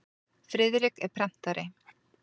Friðrik er prentari.